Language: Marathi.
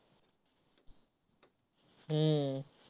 हम्म